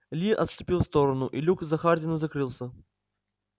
ли отступил в сторону и люк за хардином закрылся